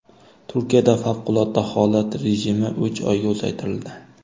Turkiyada favqulodda holat rejimi uch oyga uzaytirildi.